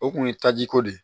O kun ye tajiko de ye